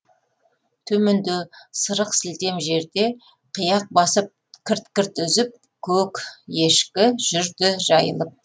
төменде сырық сілтем жерде қияқ басып кірт кірт үзіп көк ешкі жүрді жайылып